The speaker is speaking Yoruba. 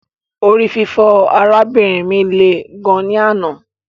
Orififo arabinrin mi le gan ni anna